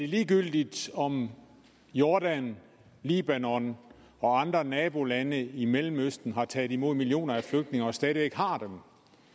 ligegyldigt om jordan libanon og andre nabolande i mellemøsten har taget imod millioner af flygtninge og stadig væk har dem